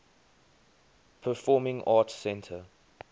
performing arts center